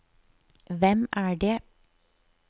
hvem er det